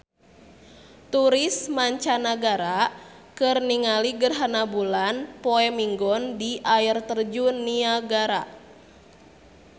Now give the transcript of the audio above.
Turis mancanagara keur ningali gerhana bulan poe Minggon di Air Terjun Niagara